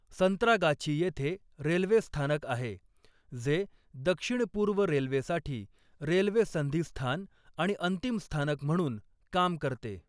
संत्रागाछी येथे रेल्वे स्थानक आहे, जे दक्षिण पूर्व रेल्वेसाठी रेल्वे संधिस्थान आणि अंतिम स्थानक म्हणून काम करते.